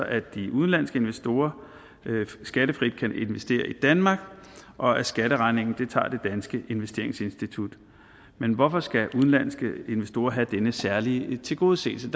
at de udenlandske investorer skattefrit kan investere i danmark og at skatteregningen tager det danske investeringsinstitut men hvorfor skal udenlandske investorer have denne særlige tilgodeseelse